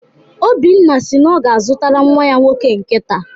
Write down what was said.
Obinna si na ọ ga-azụtara nnwa ya nwoke nkịta.